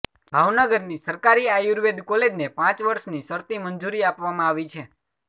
ભાવનગરની સરકારી આયુર્વેદ કોલેજને પાંચ વર્ષની શરતી મંજૂરી આપવામાં આવી છે